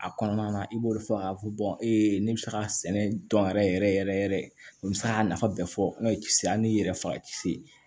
A kɔnɔna na i b'o de fɔ k'a fɔ ne bɛ se k'a sɛnɛ dɔn yɛrɛ yɛrɛ yɛrɛ o bɛ se k'a nafa bɛɛ fɔ n'o ye cisse hali n'i yɛrɛ faga kisi